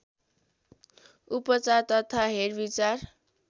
उपचार तथा हेरविचार